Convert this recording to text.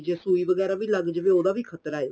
ਜੇ ਸੂਈ ਵਗੈਰਾ ਵੀ ਲੱਗ ਜਾਵੇ ਉਹਦਾ ਵੀ ਖਤਰਾ ਏ